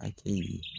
A kɛ yi